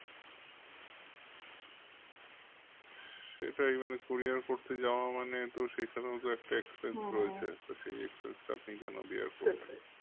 সেটাই মানে curior করতে যাওয়া মানে তো সেখানেও একটা expense তো সেই expense টা আপনি কেন bear